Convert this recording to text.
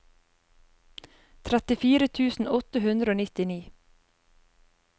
trettifire tusen åtte hundre og nittini